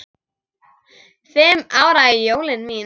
Fimm ára jólin mín.